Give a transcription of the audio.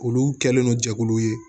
Olu kɛlen don jɛkulu ye